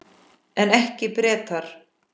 En ekki Bretar.